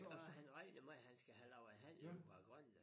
Og han regner med han skal have lavet handlen med Grønland